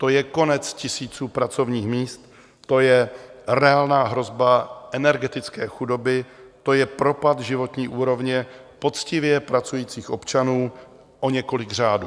To je konec tisíců pracovních míst, to je reálná hrozba energetické chudoby, to je propad životní úrovně poctivě pracujících občanů o několik řádů.